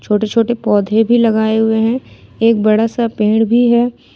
छोटे छोटे पौधे भी लगाए हुए हैं एक बड़ा सा पेड़ भी है।